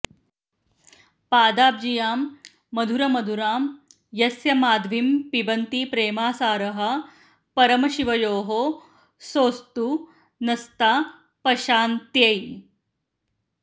पादाब्जीयां मधुरमधुरां यस्य माध्वीं पिबन्ति प्रेमासारः परमशिवयोः सोऽस्तु नस्तापशान्त्यै